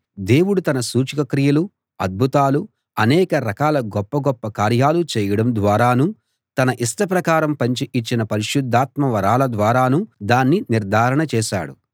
దేవుడు తన సూచకక్రియలు అద్భుతాలు అనేక రకాల గొప్ప గొప్ప కార్యాలు చేయడం ద్వారానూ తన ఇష్ట ప్రకారం పంచి ఇచ్చిన పరిశుద్ధాత్మ వరాల ద్వారానూ దాన్ని నిర్ధారణ చేశాడు